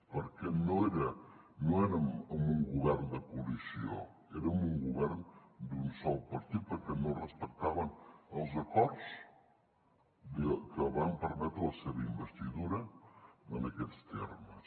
perquè no érem en un govern de coalició érem un govern d’un sol partit perquè no respectaven els acords que van permetre la seva investidura en aquests termes